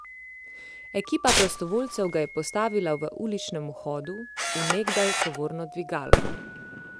Ekipa prostovoljcev ga je postavila v uličnem vhodu v nekdaj tovorno dvigalo.